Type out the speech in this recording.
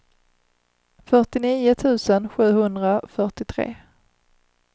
fyrtionio tusen sjuhundrafyrtiotre